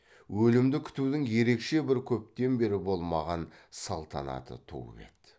өлімді күтудің ерекше бір көптен бері болмаған салтанаты туып еді